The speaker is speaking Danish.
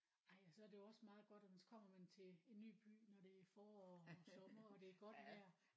Ej og så er det jo også meget godt at man så kommer man til en ny by når det er forår og sommer og det er godt vejr